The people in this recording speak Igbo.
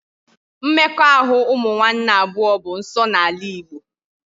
Mmekọahụ ụmụ nwanne abụọ bụ nsọ n'ala igbo